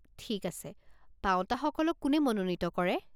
ঠিক আছে, পাওঁতাসকলক কোনে মনোনীত কৰে?